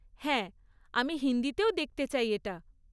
হ্যাঁ, আমি হিন্দিতেও দেখতে চাই এটা।